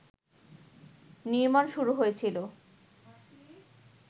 নির্মাণ শুরু হয়েছিল